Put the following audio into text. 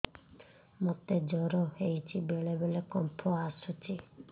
ମୋତେ ଜ୍ୱର ହେଇଚି ବେଳେ ବେଳେ କମ୍ପ ଆସୁଛି